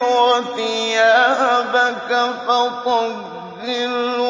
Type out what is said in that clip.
وَثِيَابَكَ فَطَهِّرْ